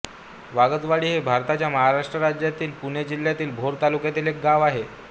वागजवाडी हे भारताच्या महाराष्ट्र राज्यातील पुणे जिल्ह्यातील भोर तालुक्यातील एक गाव आहे